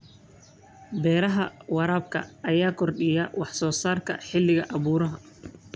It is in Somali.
Beeraha waraabka ayaa kordhiya wax soo saarka xilliga abaaruhu.